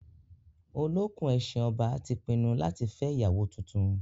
Olókùn-ẹṣin ọba ti pinnu láti fẹ́ ìyàwó tuntun.